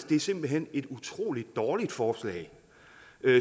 det simpelt hen et utrolig dårligt forslag